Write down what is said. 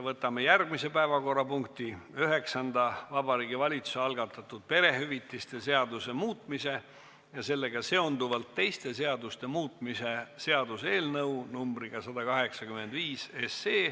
Võtame järgmise päevakorrapunkti, üheksanda: Vabariigi Valitsuse algatatud perehüvitiste seaduse muutmise ja sellega seonduvalt teiste seaduste muutmise seaduse eelnõu numbriga 185.